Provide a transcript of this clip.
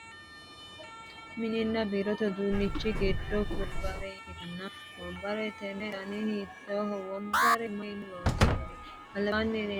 mininna biirote uduunnichi giddo kullanniti mitte wombare ikkitanna, wombare tenne dani hiittooho? wombare mayiinni loonsanni? albaanni leeltanno gidaame mayiinni loonsoonnite?